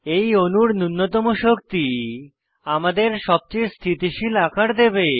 এই অণুর নুন্যতম শক্তি আমাদের সবচেয়ে স্থিতিশীল আকার দেবে